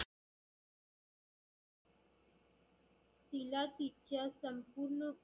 तिला तिच्या संपूर्ण.